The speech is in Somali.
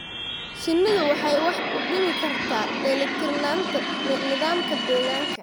Shinnidu waxay wax u dhimi kartaa dheelitirnaanta nidaamka deegaanka.